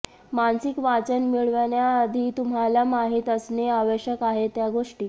मानसिक वाचन मिळवण्याआधी तुम्हाला माहित असणे आवश्यक आहे त्या गोष्टी